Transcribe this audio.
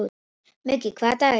Muggi, hvaða dagur er í dag?